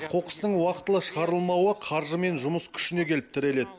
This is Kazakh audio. қоқыстың уақытылы шығарылмауы қаржы мен жұмыс күшіне келіп тіреледі